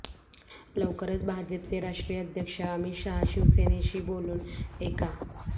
लवकरच भाजपचे राष्ट्रीय अध्यक्ष अमित शाह शिवसेनेशी बोलून एका